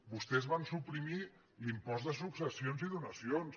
vostès van suprimir l’impost de successions i donacions